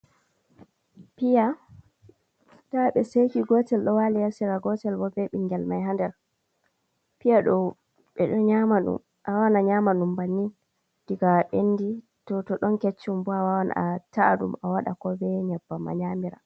Piya da ɓe seki gotel ɗo wali ha sera gotel bo be bingel mai ha nder. Piya ɗo ɓeɗo nyama ɗum banni diga bendi to to ɗon keccum bo a wawan a ta’a ɗum a waɗa ko be nyabbam a nyamira.